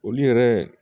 Olu yɛrɛ